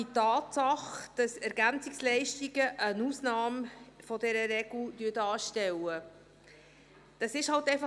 Die Tatsache, dass EL eine Ausnahme von dieser Regel darstellen, kann ich nicht ändern.